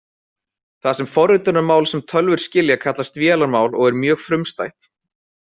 Það forritunarmál sem tölvur skilja kallast vélarmál og er mjög frumstætt.